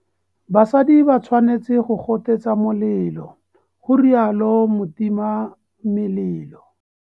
BASADI ba tshwanetse go gotetsa molelo, ga rialo motimamelelo.